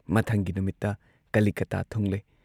ꯃꯊꯪꯒꯤ ꯅꯨꯃꯤꯠꯇ ꯀꯂꯤꯀꯇꯥ ꯊꯨꯡꯂꯦ ꯫